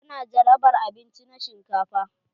Ta na jarabar abinci na shinkafa.